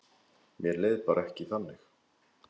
Mér leið bara ekki þannig.